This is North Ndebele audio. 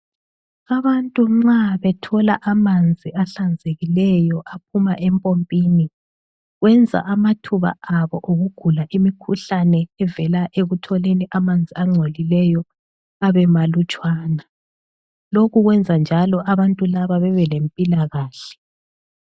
Abantu nxa bethola amanzi ahlanzekileyo aphuma empompini, kwenza amathuba abo okugula imikhuhlane evela ekutholeni amanzi angcolileyo abemalutshwana, lokhu kwenzanjalo abantu laba bebelempilakahle.